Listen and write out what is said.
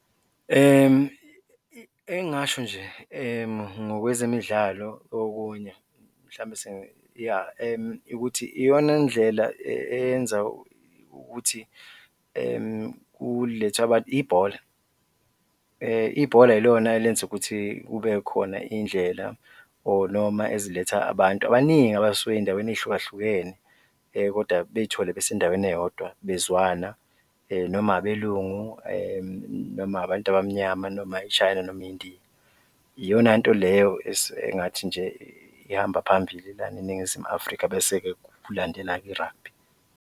Engingasho nje ngokwezemidlalo okunye mhlawumbe ya, ukuthi iyona ndlela eyenza ukuthi kulethwe abantu, ibhola. Ibhola ilona elenza ukuthi kube khona iy'ndlela or noma eziletha abantu abaningi abasuke ey'ndaweni ey'hlukahlukene kodwa bey'thole besendaweni eyodwa bezwana noma abelungu noma abantu abamnyama noma i-china noma indiya, iyona nto leyo engathi nje ihamba phambili lana eNingizimu Afrika bese-ke kulandela i-rugby.